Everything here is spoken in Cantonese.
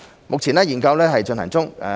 目前，研究正在進行中。